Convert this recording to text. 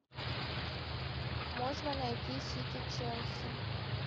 можно найти сити челси